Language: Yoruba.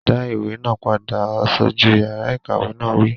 Dá ìwé náà padà! Aṣojú yàrá ìkàwé náà wí